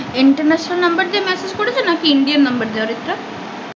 Intarnation number দিয়ে massage করেছে নাকি indian number দিয়ে আর একটা?